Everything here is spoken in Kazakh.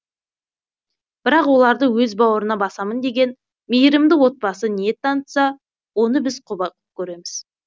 бірақ оларды өз бауырына басамын деген мейірімді отбасы ниет танытса оны біз құба құп көреміз